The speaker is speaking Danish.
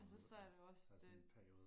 altså så er der jo også det